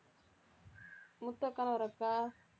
முத்து அக்கானு ஒரு அக்கா